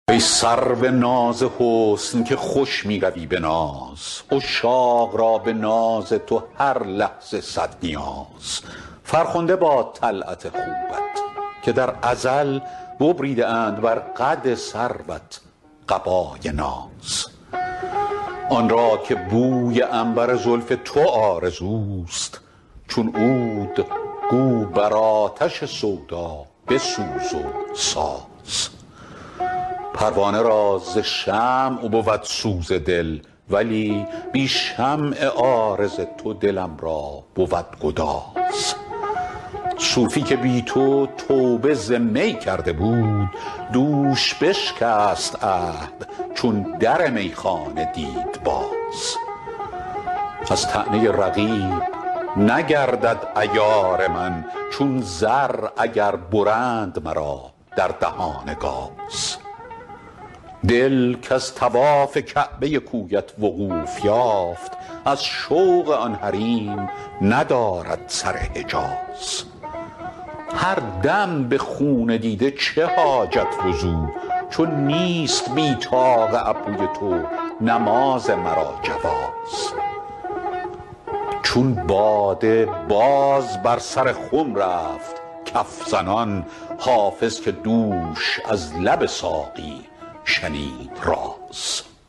ای سرو ناز حسن که خوش می روی به ناز عشاق را به ناز تو هر لحظه صد نیاز فرخنده باد طلعت خوبت که در ازل ببریده اند بر قد سروت قبای ناز آن را که بوی عنبر زلف تو آرزوست چون عود گو بر آتش سودا بسوز و ساز پروانه را ز شمع بود سوز دل ولی بی شمع عارض تو دلم را بود گداز صوفی که بی تو توبه ز می کرده بود دوش بشکست عهد چون در میخانه دید باز از طعنه رقیب نگردد عیار من چون زر اگر برند مرا در دهان گاز دل کز طواف کعبه کویت وقوف یافت از شوق آن حریم ندارد سر حجاز هر دم به خون دیده چه حاجت وضو چو نیست بی طاق ابروی تو نماز مرا جواز چون باده باز بر سر خم رفت کف زنان حافظ که دوش از لب ساقی شنید راز